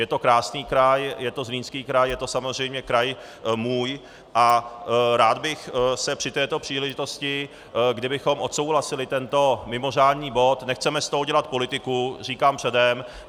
Je to krásný kraj, je to Zlínský kraj, je to samozřejmě kraj můj a rád bych se při této příležitosti, kdybychom odsouhlasili tento mimořádný bod - nechceme z toho dělat politiku, říkám předem.